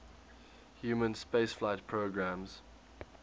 human spaceflight programmes